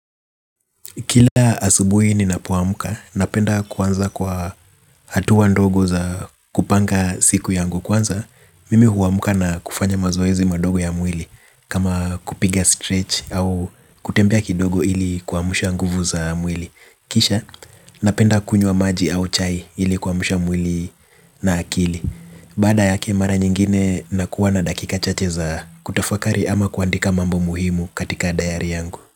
Kila asubuhi ninapoamka, napenda kuanza kwa hatua ndogo za kupanga siku yangu kwanza. Mimi huamka na kufanya mazoezi madogo ya mwili kama kupiga stretch au kutembea kidogo ili kuamsha nguvu za mwili. Kisha, napenda kunywa maji au chai ili kuamsha mwili na akili. Baada yake mara nyingine nakuwa na dakika chache za kutafakari ama kuandika mambo muhimu katika dayari yangu.